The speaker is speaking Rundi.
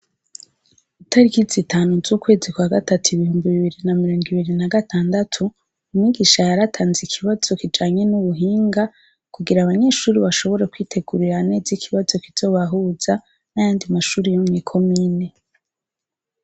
Itariki zitanu z'ukwezi kwa gatatu ibihumbi bibiri na mirongo ibiri n'agatandatu umwigisha yaratanze ikibazo kijanye n'ubuhinga kugira abanyeshuri bashobore kwitegurire neza ikibazo kizobahuza n'ayandi mashuri yo mw'ikomine.